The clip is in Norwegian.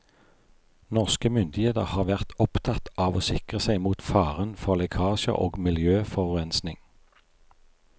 Norske myndigheter har vært opptatt av å sikre seg mot faren for lekkasjer og miljøforurensning.